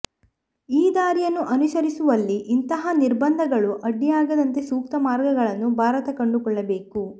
ಈ ದಾರಿಯನ್ನು ಅನುಸರಿಸುವಲ್ಲಿ ಇಂತಹ ನಿರ್ಬಂಧಗಳು ಅಡ್ಡಿಯಾಗದಂತೆ ಸೂಕ್ತ ಮಾರ್ಗಗಳನ್ನು ಭಾರತ ಕಂಡುಕೊಳ್ಳಬೇಕು